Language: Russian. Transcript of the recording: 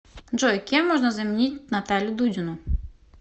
джой кем можно заменить наталью дудину